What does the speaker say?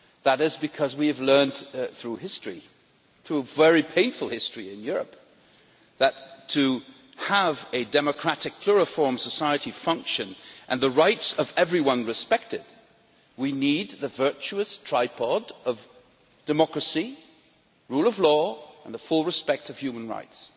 It is because we have learned through history, through a very painful history in Europe, that in order to have a democratic pluriform society functioning and the rights of everyone respected, we need the virtuous tripod of democracy, rule of law and full respect for human rights.